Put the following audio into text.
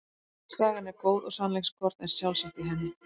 Sagan er góð og sannleikskorn er sjálfsagt í henni.